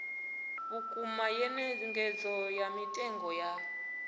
vhukuma nyengedzo ya mitengo ya